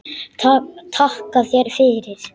Takka þér fyrir